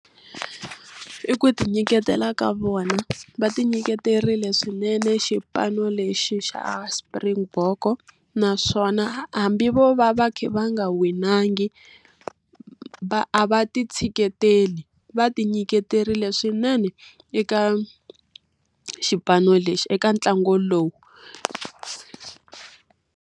I ku tinyiketela ka vona. Va tinyiketerile swinene xipano lexi xa Springbok-o. Naswona hambi vo va va kha va nga winangi, a va ti tsheketeli, va ti nyiketerile swinene eka xipano lexi, eka ntlangu lowu.